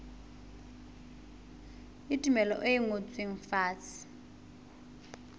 le tumello e ngotsweng fatshe